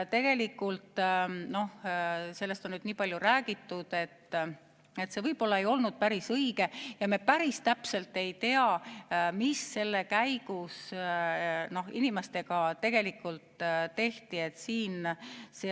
Tegelikult sellest on nüüd nii palju räägitud, et see võib-olla ei olnud päris õige ja me päris täpselt ei tea, mis selle käigus inimestega tegelikult tehti.